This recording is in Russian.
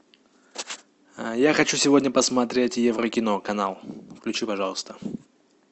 я хочу сегодня посмотреть еврокино канал включи пожалуйста